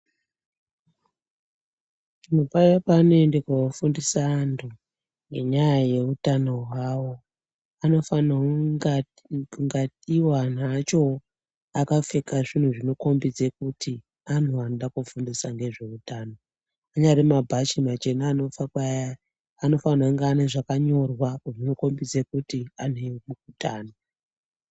Antu paya panoende kofundisa antu ngenyaya yeutano hwavo anofanirwa kunga iwo antu acho akapfeka zvinhu zvinokombidze kuti antu anoda kofundisa ngezveutano. Anyari mabhachi machena anopfekwa aya anofanira kunge ane zvakanyorwa zvinokombidze kuti antu eutano.